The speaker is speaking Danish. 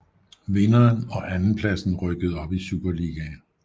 Vinderen og andenpladsen rykkede op i Superligaen